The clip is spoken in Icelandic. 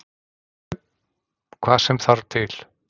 Hvað sem þarf til.